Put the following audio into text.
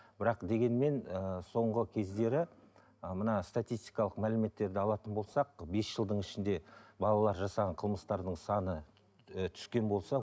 бірақ дегенмен ыыы соңғы кездері мына статистикалық мәліметтерді алатын болсақ бес жылдың ішінде балалар жасаған қылмыстардың саны ы түскен болса